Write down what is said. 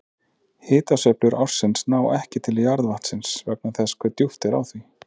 Hitasveiflur ársins ná ekki til jarðvatnsins vegna þess hve djúpt er á því.